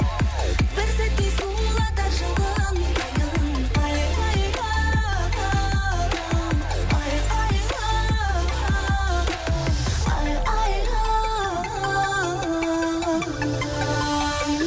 бір сәтте сұлуларды жылынтайын айхай айхай айхай